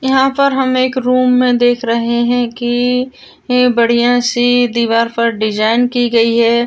यहां पर हम एक रूम में देख रहे है की ही बढ़िया सी दीवार पर डिजाइन की गयी है।